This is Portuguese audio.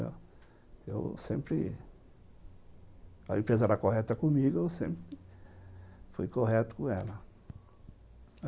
Eu sempre... A empresa era correta comigo, eu sempre fui correto com ela.